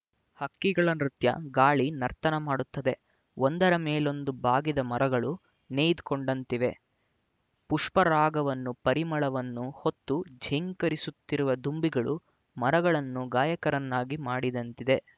ಹಕ್ಕಿಗಳ ನೃತ್ಯ ಗಾಳಿ ನರ್ತನಮಾಡುತ್ತದೆ ಒಂದರ ಮೇಲೊಂದು ಬಾಗಿದ ಮರಗಳು ನೆಯ್ದುಕೊಂಡಂತಿವೆ ಪುಷ್ಪರಾಗವನ್ನು ಪರಿಮಳವನ್ನು ಹೊತ್ತು ಝೇಂಕರಿಸುತ್ತಿರುವ ದುಂಬಿಗಳು ಮರಗಳನ್ನು ಗಾಯಕರನ್ನಾಗಿ ಮಾಡಿದಂತಿದೆ